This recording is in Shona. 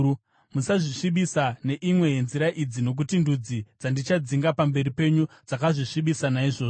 “ ‘Musazvisvibisa neimwe yenzira idzi nokuti ndudzi dzandichadzinga pamberi penyu dzakazvisvibisa naizvozvo.